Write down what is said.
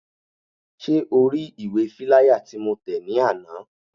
Ṣé o ri ìwé fíláyà tí mo tẹ̀ ní àná?